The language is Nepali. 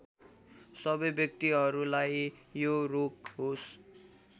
सबै व्यक्तिहरूलाई यो रोग होस्